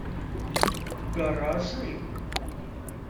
гаражи